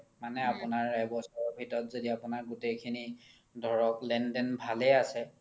মানে আপোনাৰ এবছৰ ভিতৰত য্দি আপোনাৰ গুতেই খিনি ধৰক লেন দেন ভালে আছে